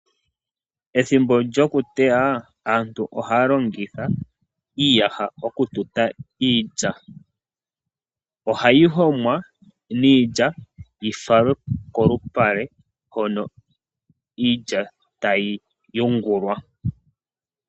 Ethimbo lyokuteya aantu ohaa longitha iiyaha oku tuta iilya. Ohayi homwa, niilya yifalwe kolupale hono iilya tayi yungulwa.